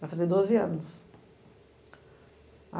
Vai fazer doze anos.